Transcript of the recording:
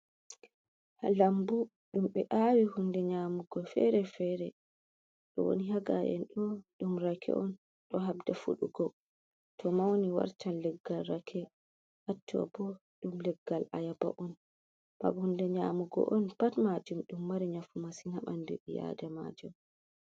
Labbu ɗum be aawi hunɗe nyamugo fere-fere. Ɗoni ha ngaen ɗo rak'e on ɗo haɗɗa fuɗugo To mauni wartan leggal rak'e. Ɗum hunde nyamugo on, pat majum ɗo mari nafu masin ha banɗu bii adamajo.